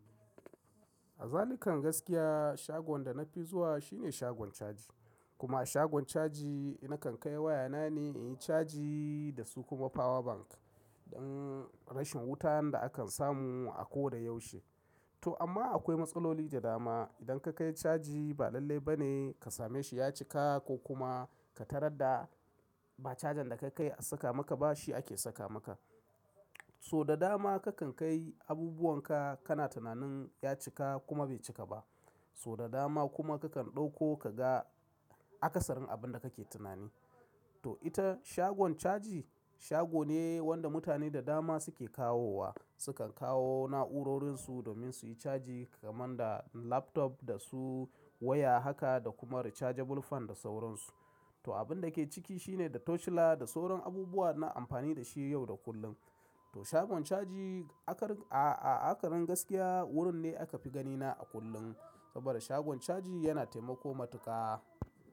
A zalika gaskiya shagon da nafi zuwa shine shagon caji. Kuma a shagon caji na kan kai wayana ne in yi caji da su kuma power bank dan rashin wutan da akan samu a ko da yaushe. To amma akwai matsaloli da dama. Idan ka kai caji ba lallai ba ne ka same shi ya cika ko kuma ka tarar da ba cajan da ka kai a saka maka ba shi ake saka maka. Sau da dama kakan kai abubuwan ka kana tunanin ya cika kuma bai cika ba. Sau da dama kuma kakan ɗauko ka ga akasarin abinda kake tunani. To ita shagon caji shago ne wanda mutane da dama suke kawowa. Sukan kawo na'urorinsu domin su yi caji kamar da laptop da su waya haka da kuma rechargeable fan da sauransu. To abinda ke ciki shine da torchlight da sauran abubuwa na amfani da shi yau da kullum. To shagon caji, a karin gaskiya wurin ne aka fi ganina a kullum sabida shagon caji yana taimako matuƙa.